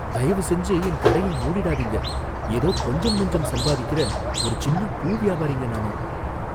தயவுசெஞ்சு என் கடையை மூடிடாதீங்க, ஏதோ கொஞ்சம் நெஞ்சம் சம்பாதிக்குற ஒரு சின்ன பூ வியாபாரிங்க நானு.